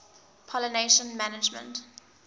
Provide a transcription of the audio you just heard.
pollination management